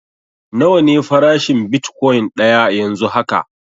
Nawa ne farashin bitkwain daya yanzu haka?